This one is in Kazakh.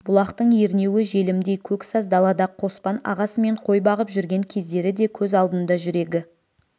бұлақтың ернеуі желімдей көк саз далада қоспан ағасымен қой бағып жүрген кездері де көз алдында жүрегі